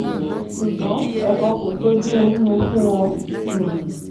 ṣùgbọ́n ẹ̀kọ́ kò sójú ḿmú fún wọn um